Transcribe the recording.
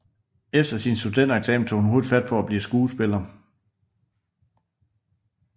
Efter sin studentereksamen tog hun hurtigt fat på at blive skuespiller